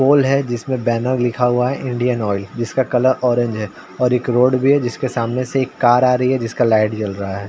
पोल है जिसमें बैनर लिखा हुआ है इंडियन ऑयल जिसका कलर ऑरेंज है और एक रोड भी है जिस के सामने से एक कार आ रही है जिसका लाइट जल रहा है।